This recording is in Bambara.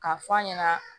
K'a fɔ a ɲɛna